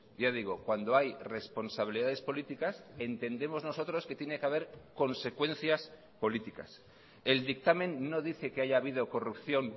ya digo cuando hay responsabilidades políticas entendemos nosotros que tiene que haber consecuencias políticas el dictamen no dice que haya habido corrupción